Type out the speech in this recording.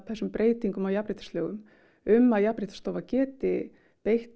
þessum breytingum á jafnréttislögum um að Jafnréttisstofa geti beitt